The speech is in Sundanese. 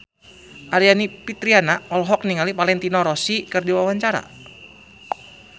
Aryani Fitriana olohok ningali Valentino Rossi keur diwawancara